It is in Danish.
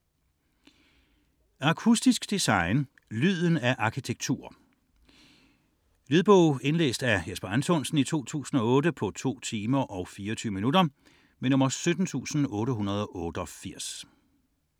69.201 Akustisk design: lyden af arkitektur Lydbog 17888 Indlæst af Jesper Anthonsen, 2008. Spilletid: 2 timer, 24 minutter.